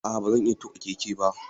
A'a ba zan iya tuƙa keke ba.